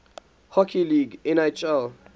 hockey league nhl